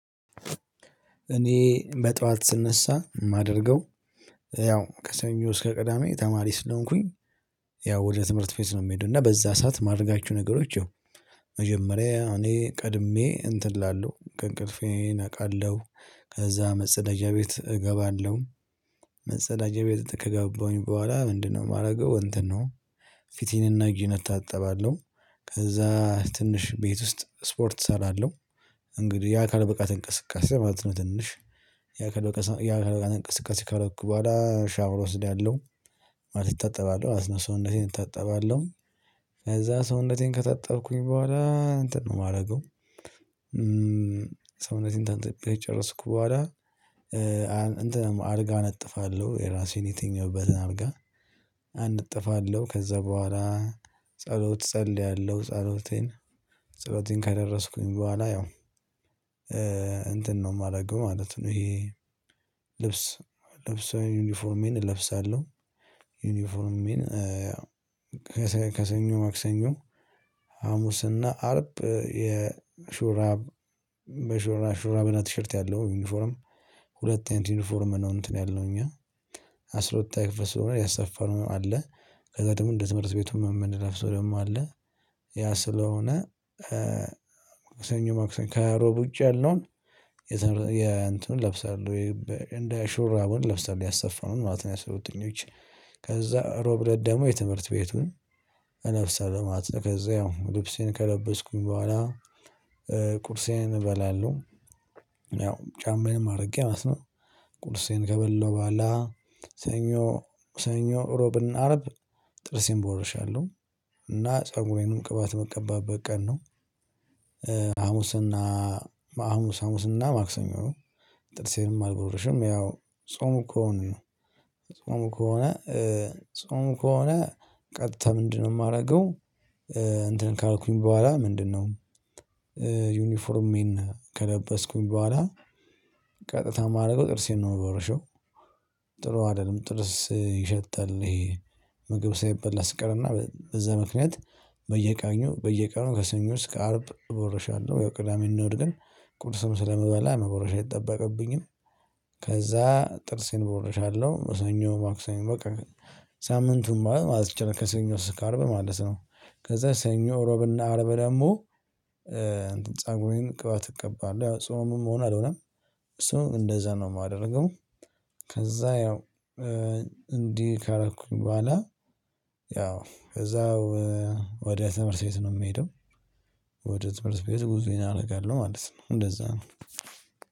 እኔ በጥዋት ስነሳ ማደርገው ያው ከሰኞ እስከ ቅዳሜ ተማሪ ስለሆንኩኝ። ያው ወደ ትምህርት ቤት ነው ምሄደው እና በዛ ሰዓት ማደርጋችሁ ነገሮች ይው መጀመሪያ እኔ ቀድሜ እንትን እላለሁ ከእንቅልፌ እነቃለሁ ከዛ መጸዳጃ ቤት እገባለሁ። መጸዳጃ ቤት ከገባሁኝ በኋላ ምንድነው ማደርገው እንትን ነው። ፊቴን እና እጀን እታጠባለሁ ከዛ ትንሽ ቤት ውስጥ ስፖርት ሰራለው። እንግዲህ ያካል ብቃት እንቅስቃሴ ማለት ነው። ትንሽ ያ ከለቀሳ ያ ከለቀሳ እንቅስቃሴ ካረኩ በኋላ ሻወር ወስዳለሁ። ማለት እታጠባለሁ ማለት ነው ሰውነቴን እታጠባለሁ። ከዛ ሰውነቴን ከታጠብኩኝ በኋላ እንትን ነው ማረገው። ሰውነቴን ታጥቤ ከጨረስኩ በኋላ እንትን አልጋ እነጥፋለሁ የራሴን የትኛውበትን አልጋ አነጥፋለሁ። ከዛ በኋላ ጸሎት ጸልያለሁ። ጸሎቴን ጸሎቴን ከደረስኩኝ በኋላ ያው እንትን ነው ማደርገው ማለት ነው። ይሄ ልብስ ልብስ ዩኒፎርሜን እለብሳለሁ። ዩኒፎርሜን ከሰኞ ማክሰኞ ሀሙስና አርብ የሹራብ ሹራ ሹራብና ቲሸርት ያለው ዩኒፎርም። ሁለት አይነት ዩኒፎርም ነው። እንትን ያልነው እኛ አስራ ሁለተኛ ክፍል ስለሆነ ያሰፋነው አለ ከዛ ደሞ እንደ ትምህርት ቤቱ መምን ለፍሶ ደግሞ አለ። ያ ስለሆነ ማክሰኞ ማክሰኞ ከሮቡጭ ያለውን የእንትኑን ለብሰሃለው እንደ ሹራቡን ለብሰሃል ያሰፋነውን ማለት ነው። የአስራ ሁለተኞች ከዛ ሮብለት ደሞ የትምህርት ቤቱን ነፍሰ ለማለት ነው። ከዛ ያው ልብሴን ከለበስኩኝ በኋላ ቁርሴን እበላለሁ። ያው ጫማዬንም አድርጌ ማለት ነው። ቁርሴን ከበለው በኋላ ሰኞ ሮብና አርብ ጥርሴን ቦርሻለሁ እና ፀጉሬንም ቅባት ምቀባበት ቀን ነው። ሀሙስና ሀሙስ ሀሙስና ማክሰኞ ነው። ጥርሴንም አልቦርሽም ያው ጾሙ ከሆንን ነው። ጾሙ ከሆነ ጾሙ ከሆነ ቀጥታ ምንድነው ማረገው? እንትን ካረኩኝ በኋላ ምንድነው ዩኒፎርሜን ከለበስኩኝ በኋላ ቀጥታ ማረገው ጥርሴን ነው ምቦርሸው። ጥሩ አይደለም ጥርስ ይሸታል። ምግብ ሳይበላ ስቀረና በዛ ምክንያት በየቃኙ በየቀኑ ከሰኞ እስከ አርብ ቦረሻአለው ያው ቅዳሜ እና እሁድ ግን ቁርስም ስለመበላ መቦረሻ አይጠበቅብኝም። ከዛ ጥርሴን ቦርሻለሁ ሰኞ ማክሰኞ በቃ ሳምንቱ ማለት ከሰኞ እስካርብ ማለት ነው። ከዛ ሰኞ ሮብና አርብ ደግሞ ፀጉሬን ቅባት እቀባለሁ ያው ጾምም ሆነ አልሆነም እሱ እንደዛ ነው የማደርገው። ከዛ ያው እንዲህ ካረኩኝ በኋላ ያው ከዛ ወደ ትምህርት ቤት ነው ምሄደው። ወደ ትምህርት ቤት ጉዞዬን አደርጋለሁ ማለት ነው እንደዛ ነው።